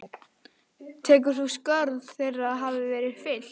Telur þú að skörð þeirra hafi verið fyllt?